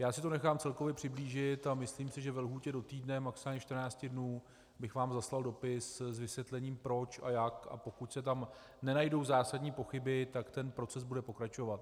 Já si to nechám celkově přiblížit a myslím si, že ve lhůtě do týdne, maximálně 14 dnů bych vám zaslal dopis s vysvětlením, proč a jak, a pokud se tam nenajdou zásadní pochyby, tak ten proces bude pokračovat.